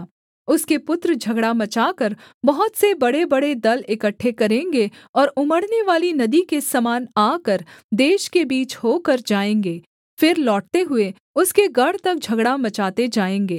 उसके पुत्र झगड़ा मचाकर बहुत से बड़ेबड़े दल इकट्ठे करेंगे और उमड़नेवाली नदी के समान आकर देश के बीच होकर जाएँगे फिर लौटते हुए उसके गढ़ तक झगड़ा मचाते जाएँगे